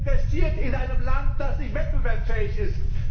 Wer investiert in einem Land, das nicht wettbewerbsfähig ist?